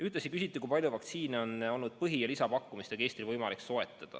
Ühtlasi küsiti, kui palju vaktsiine on olnud põhi- ja lisapakkumistega Eestil võimalik soetada.